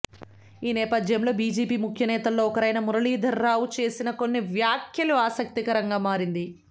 ఈ నేపథ్యంలో బీజేపీ ముఖ్యనేతల్లో ఒకరైన మురళీధర్ రావు చేసిన కొన్ని వ్యాఖ్యలు ఆసక్తికరంగా మారింది